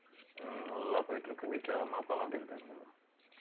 ஹம் நல்லா போயிட்டு இருக்கு வீட்ல அம்மா அப்பா எல்லாம் எப்படி இருக்காங்க